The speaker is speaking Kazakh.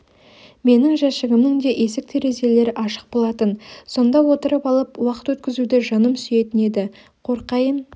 менің жәшігімнің де есік терезелері ашық болатын сонда отырып алып уақыт өткізуді жаным сүйетін еді қорқайын